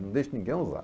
Não deixo ninguém usar.